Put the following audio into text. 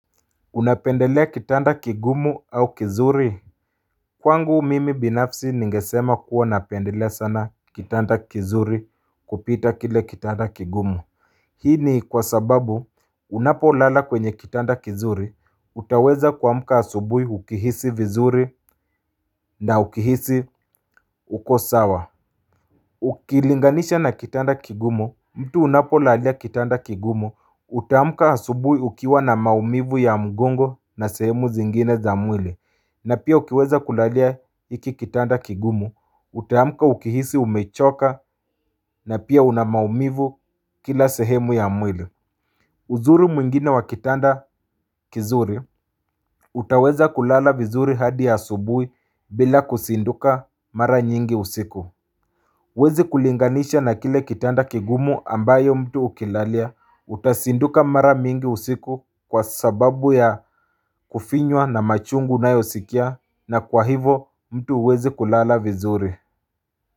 Unapendelea kitanda kigumu au kizuri Kwangu mimi binafsi ningesema kuwa napendelea sana kitanda kizuri kupita kile kitanda kigumu Hii ni kwa sababu unapolala kwenye kitanda kizuri utaweza kuamka asubuhi ukihisi vizuri na ukihisi uko sawa Ukilinganisha na kitanda kigumu, mtu unapolalia kitanda kigumu, utaamka asubuhi ukiwa na maumivu ya mgongo na sehemu zingine za mwili na pia ukiweza kulalia hiki kitanda kigumu, utaamka ukihisi umechoka na pia una maumivu kila sehemu ya mwili uzuri mwingine wa kitanda kizuri utaweza kulala vizuri hadi asubuhi bila kuzinduka mara nyingi usiku Huezi kulinganisha na kile kitanda kigumu ambayo mtu ukilalia utazinduka mara mingi usiku kwa sababu ya kufinywa na machungu unayosikia na kwa hivo mtu huwezi kulala vizuri.